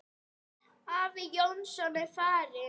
Afi Jónsson er farinn.